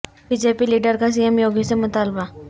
be J P leader کا C M Yogi سے مطالبہ